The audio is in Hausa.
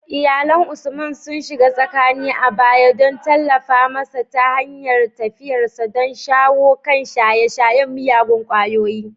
Iyalan Usman sun shiga tsakani a baya don tallafa masa ta hanyar tafiyarsa don shawo kan shaye-shayen miyagun kwayoyi.